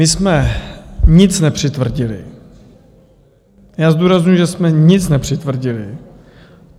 My jsme nic nepřitvrdili, já zdůrazňuji, že jsme nic nepřitvrdili.